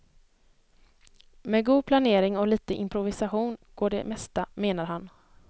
Med god planering och lite improvisation går det mesta, menar han.